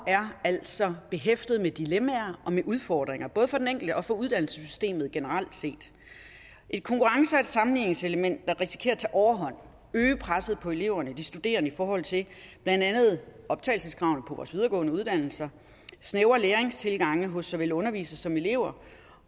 er altså behæftet med dilemmaer og med udfordringer både for den enkelte og for uddannelsessystemet generelt set et konkurrence og sammenligningselement der risikerer at tage overhånd øge presset på eleverne og de studerende i forhold til blandt andet optagelseskravene på vores videregående uddannelser snævre læringstilgange hos såvel undervisere som elever